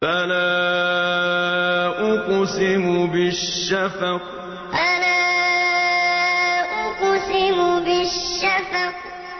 فَلَا أُقْسِمُ بِالشَّفَقِ فَلَا أُقْسِمُ بِالشَّفَقِ